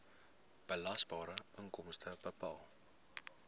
belasbare inkomste bepaal